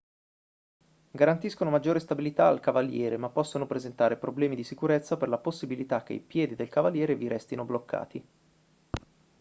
garantiscono maggiore stabilità al cavaliere ma possono presentare problemi di sicurezza per la possibilità che i piedi del cavaliere vi restino bloccati